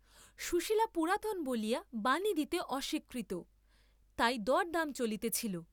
সুশীলা পুরাতন বলিয়া বানি দিতে অস্বীকৃত, তাই দর দাম চলিতেছিল।